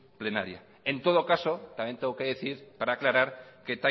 plenaria en todo caso también tengo que decir para aclarar que